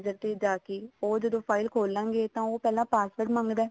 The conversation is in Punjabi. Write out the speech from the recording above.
ਦੀ ਉੱਥੇ ਜਾ ਕੇ ਉਹ ਜਦੋਂ file ਖੋਲਾਂਗੇ ਤਾਂ ਪਹਿਲਾਂ password ਮੰਗਦਾ